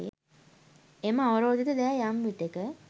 එම අවරෝධිත දෑ යම් විටෙක